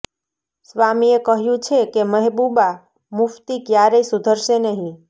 સ્વામીએ કહ્યું છે કે મહેબૂબા મુફતી ક્યારેય સુધરશે નહીં